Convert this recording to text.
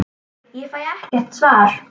Ég fæ ekkert svar.